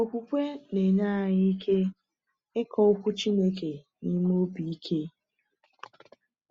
Okwukwe na-enye anyị ike ịkọ Okwu Chineke n’ime obi ike.